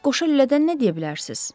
Bəs qoşa lülədən nə deyə bilərsiz?